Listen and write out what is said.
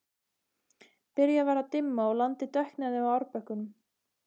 Byrjað var að dimma og landið dökknaði á árbökkunum.